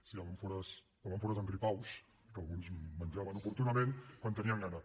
sí amb àmfores amb àmfores amb gripaus que alguns menjaven oportunament quan tenien gana